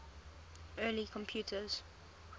early computers